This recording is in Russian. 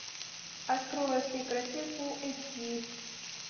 открой во всей красе фул эйч ди